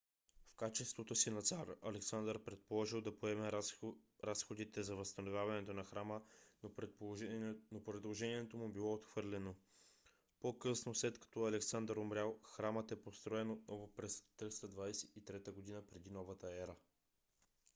в качеството си на цар александър предложил да поеме разходите за възстановяването на храма но предложението му било отхвърлено. по-късно след като александър умрял храмът е построен отново през 323 г. пр.н.е